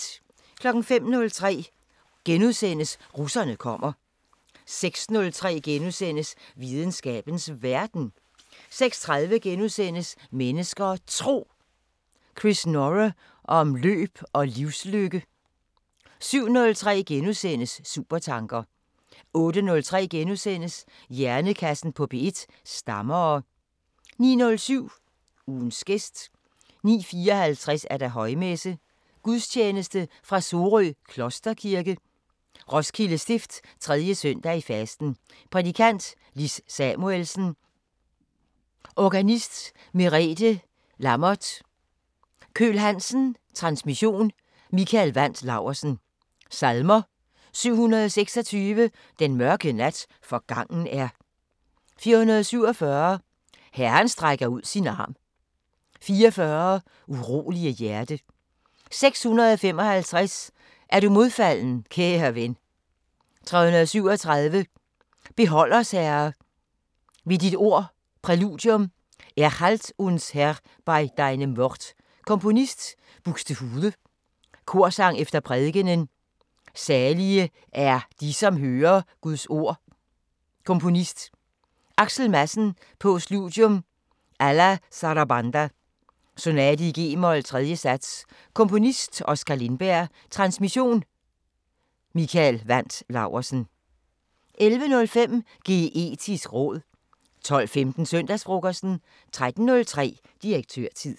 05:03: Russerne kommer * 06:03: Videnskabens Verden * 06:30: Mennesker og Tro: Chris Norre om løb og livslykke * 07:03: Supertanker * 08:03: Hjernekassen på P1: Stammere * 09:07: Ugens gæst 09:54: Højmesse - Gudstjeneste fra Sorø Klosterkirke. Roskilde Stift. 3 søndag i fasten Prædikant: Lis Samuelsen Organist: Merethe Lammert Køhl Hansen Transmission: Mikael Wandt Laursen Salmer: 726: Den mørke nat forgangen er 447: Herren strækker ud sin arm 44: Urolige hjerte 655: Er du modfalden, kære ven 337: Behold os Herre, ved dit ord Præludium: Erhalt uns Herr bei deinem Wort Komponist: D. Buxtehude Korsang efter prædikenen: Salige er de, som hører Guds ord Komponist: Axel Madsen Postludium Alla Sarabanda (Sonate g-mol, 3. Sats) Komponist: Oskar Lindberg Transmission: Mikael Wandt Laursen 11:05: Geetisk råd 12:15: Søndagsfrokosten 13:03: Direktørtid